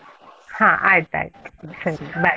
ಹ ಆಯ್ತಾಯ್ತು, ಸರಿ bye .